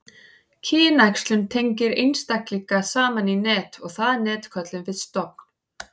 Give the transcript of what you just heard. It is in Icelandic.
kynæxlun tengir einstaklinga saman í net og það net köllum við stofn